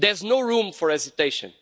There's no room for hesitation.